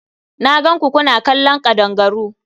Na gan ku kuna kallon ƙadangaru.